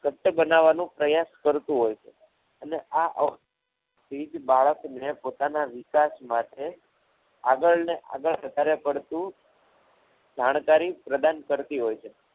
ઘટ બનાવવાનું પ્રયાસ કરતું હોય છે અને આ અવલોકન થી જ બાળકને પોતાના વિકાસ માટે આગળ ને આગળ વધાર્યા કરતું જાણકારી પ્રદાન કરતું હોય છે.